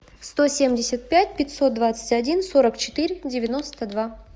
сто семьдесят пять пятьсот двадцать один сорок четыре девяносто два